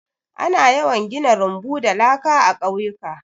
Ana yawan gina rumbu da laka a ƙauyuka.